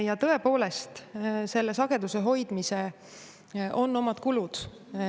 Ja tõepoolest, selle sageduse hoidmisel on omad kulud.